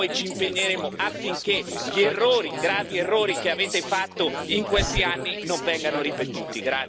E noi ci impegneremo affinché i gravi errori che avete fatto in questi anni non vengano ripetuti.